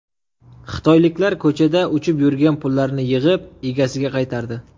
Xitoyliklar ko‘chada uchib yurgan pullarni yig‘ib, egasiga qaytardi.